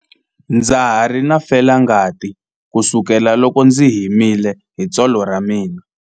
Ndza ha ri na felangati kusukela loko ndzi himile hi tsolo ra mina.